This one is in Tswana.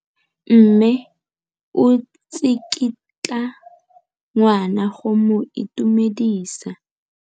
Mme o tsikitla ngwana go mo itumedisa.